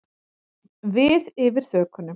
Við yfir þökunum.